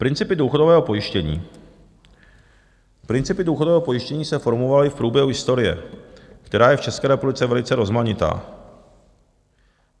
Principy důchodového pojištění - principy důchodového pojištění se formovaly v průběhu historie, která je v České republice velice rozmanitá.